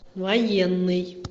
военный